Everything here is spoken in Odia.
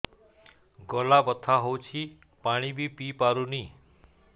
ଗଳା ବଥା ହଉଚି ପାଣି ବି ପିଇ ପାରୁନି